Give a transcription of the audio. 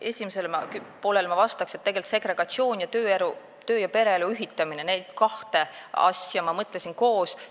Esimesele poolele ma vastan, et segregatsiooni ning töö- ja pereelu ühitamist, neid kahte asja ma mõtlesin koos.